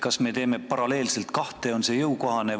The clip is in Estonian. Kas me teeme paralleelselt kahte ja on see meile jõukohane?